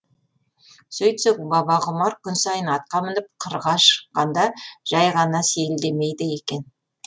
сөйтсек бабағұмар күн сайын атқа мініп қырға шыққанда жай ғана сейілдемейді екен